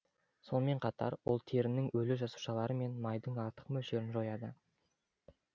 сонымен қатар ол терінің өлі жасушалары мен майдың артық мөлшерін жояды